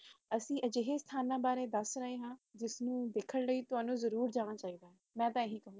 ਅਸੀ ਅਜਿਹੇ ਸਥਾਨਾਂ ਬਾਰੇ ਦੱਸ ਰਹੇ ਹਾਂ ਜਿਸ ਨੂੰ ਦੇਖਣ ਲਈ ਤੁਹਾਨੂੰ ਜ਼ਰੂਰ ਜਾਣਕਾਰੀ